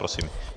Prosím.